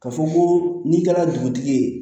Ka fɔ ko n'i kɛra dugutigi ye